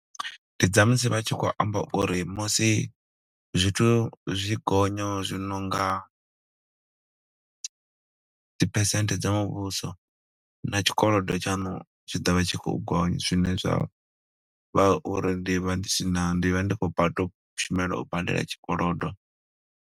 Ndi dza musi vha tshi khou amba uri musi zwithu zwi tshi gonya zwi nonga dzi phesente dza muvhuso, na tshikolodo tshaṋu tshi ḓo vha tshi khou gonya. Zwine zwa vha uri ndi vha ndi si na, ndi vha ndi khou batu, u shumela u badela tshikolodo.